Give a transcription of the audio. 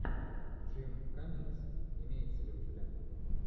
джим каммингс имеется ли у тебя